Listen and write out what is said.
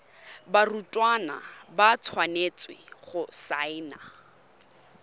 barutwana ba tshwanetse go saena